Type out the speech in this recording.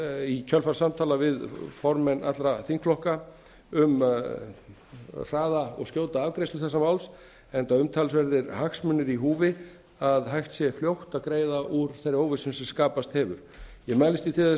í kjölfar samtala við formenn allra þingflokka um hraða og skjóta afgreiðslu þessa máls enda umtalsverðir hagsmunir í húfi að hægt sé fljótt að greiða úr þeirri óvissu sem skapast hefur ég mælist því til þess